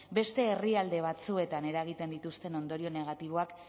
beste herrialde batzuetan eragiten dituzten ondorio negatiboak